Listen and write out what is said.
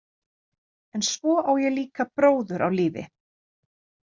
En svo á ég líka bróður á lífi.